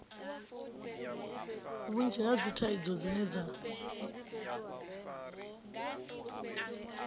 vhunzhi ha dzithaidzo dzine vha